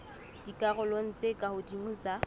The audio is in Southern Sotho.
dikarolong tse ka hodimo tsa